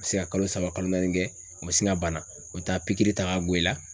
A bi se ka kalo saba kalo naani kɛ, u ma sin ka bana, u bɛ taa pikiri ta ka i la